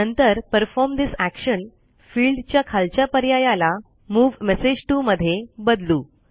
नंतर परफॉर्म ठेसे action field च्या खालच्या पर्यायाला मूव मेसेज टीओ मध्ये बदलू